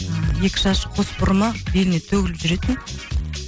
екі шашы қос бұрымы беліне төгіліп жүретін